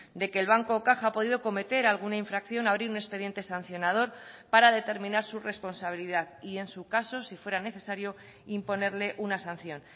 de que el banco o caja ha podido cometer alguna infracción abrir un expediente sancionador para determinar su responsabilidad y en su caso si fuera necesario imponerle una sanción